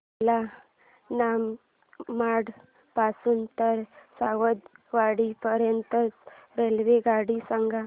मला मनमाड पासून तर सावंतवाडी पर्यंत ची रेल्वेगाडी सांगा